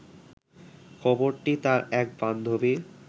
খবরটি তার এক বান্ধবী